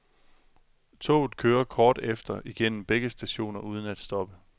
Toget kører kort efter igennem begge stationer uden at stoppe.